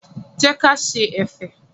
Jẹ́ ka ṣe ẹ̀fẹ̀.